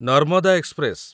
Narmada express